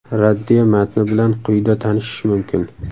Raddiya matni bilan quyida tanishish mumkin.